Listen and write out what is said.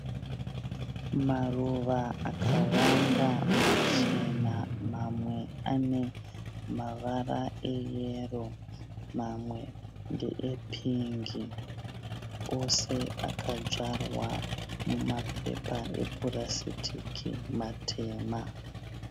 Maruva akawanda machena mamwe ane mavara eyero mamwe ndeepingi. Ose akadzvarwa mumapepa epurasitiki matema.